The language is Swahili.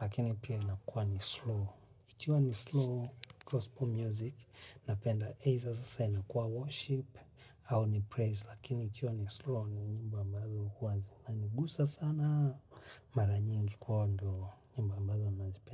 lakini pia inakuwa ni slow. Ikiwa ni slow gospel music, napenda either sasa inakuwa worship, au ni praise, lakini ikiwa ni ya slow ni nyimbo ambazo huwa zina nigusa sana mara nyingi kwahiyo ndo, nyimbo ambazo nazipenda.